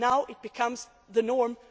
norm. Now it becomes the